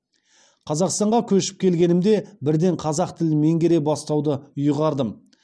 қазақстанға көшіп келгенімде бірден қазақ тілін меңгере бастауды ұйғардым